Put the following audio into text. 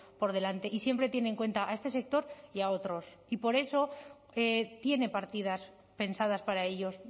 por delante y siempre tiene en cuenta a este sector y a otros y por eso tiene partidas pensadas para ellos